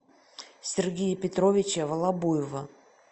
сергея петровича волобуева